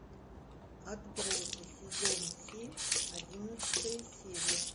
отбросы сезон семь одиннадцатая серия